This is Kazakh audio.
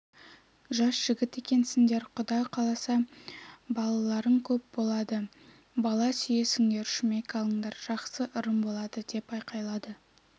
жас жігіт екенсіңдер құда қаласа балаларың көп болады бала сүйесіңдер шүмек алыңдар жақсы ырым болады деп айқайлады